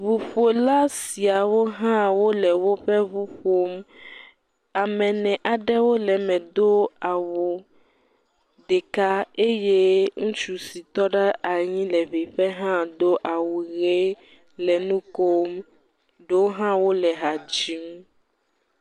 Ŋuƒola siawo hã wole woƒe ŋu ƒom. Ame ene aɖewo le me do awu ɖeka eye ŋutsu si tɔ ɖe anyi le … hã do awu ʋe le nu kom, ɖewo hã wole ha wole ha dzim.